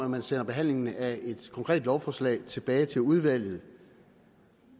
man sender behandlingen af et konkret lovforslag tilbage til udvalget